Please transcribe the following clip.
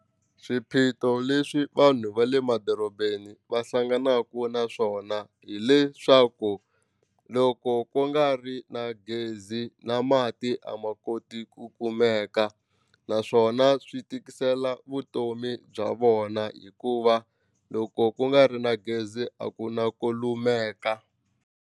Swiphiqo leswi vanhu va le madorobeni va hlanganaku na swona hileswaku loko ku nga ri na gezi na mati a ma koti ku kumeka naswona swi tikisela vutomi bya vona hikuva loko ku nga ri na gezi a ku na ku lumeka.